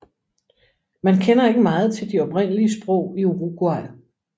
Man kender ikke meget til de oprindelige sprog i Uruguay